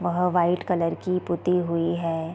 वहाँ white colour की पुत्ती हुई है।